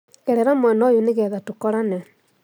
Gerera mwena ũyũnĩgetha tũkorane